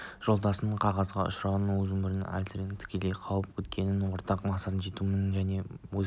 жолдасыңның қазаға ұшырауы оның өзін де әлсірететін тікелей қауіп екенін ортақ мақсатқа жетумен және өз